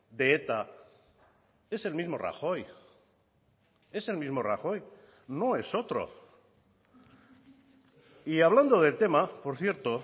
de eta es el mismo rajoy es el mismo rajoy no es otro y hablando del tema por cierto